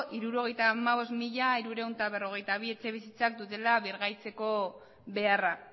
hirurogeita hamabost mila hirurehun eta berrogeita bi dutela birgaitzeko beharra